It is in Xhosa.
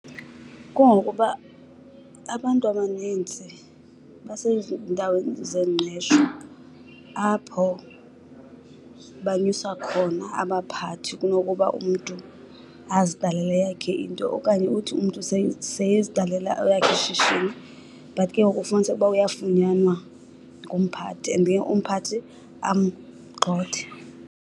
Kungokuba abantu abanintsi basezindaweni zengqesho apho banyusa khona abaphathi kunokuba umntu aziqalele eyakhe into. Okanye uthi umntu sele eziqalela elakhe ishishini but ke ngoku kufumaniseke ukuba uyafunyanwa ngumphathi and then umphathi amgxothe.